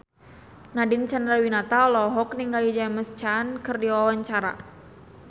Nadine Chandrawinata olohok ningali James Caan keur diwawancara